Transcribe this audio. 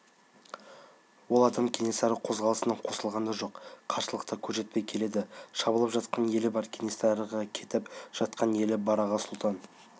ол адам кенесары қозғалысына қосылған да жоқ қарсылық та көрсетпей келеді шабылып жатқан елі бар кенесарыға кетіп жатқан елі бар аға сұлтан